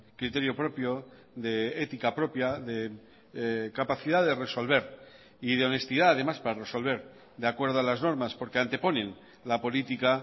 criterio propio de ética propia de capacidad de resolver y de honestidad además para resolver de acuerdo a las normas porque anteponen la política